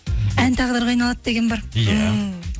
ән тағдырға айналады деген бар иә